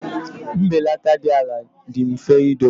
Mbelata dị ala dị mfe idowe.